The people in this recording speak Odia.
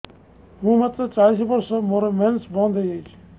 ମୁଁ ମାତ୍ର ଚାଳିଶ ବର୍ଷ ମୋର ମେନ୍ସ ବନ୍ଦ ହେଇଯାଇଛି